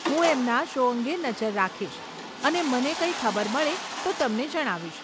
હું એમના શો અંગે નજર રાખીશ અને મને કંઈ ખબર મળે તો તમને જણાવીશ.